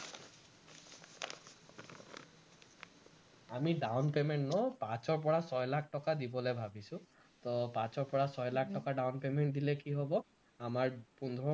আমি down payment ন পাঁচৰ পৰা ছয় লাখ টকা দিবলে ভাৱিছো, তো পাঁচৰ পৰা ছয় লাখ টকা down payment দিলে কি হব আমাৰ পোন্ধৰ